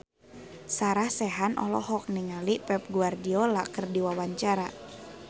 Sarah Sechan olohok ningali Pep Guardiola keur diwawancara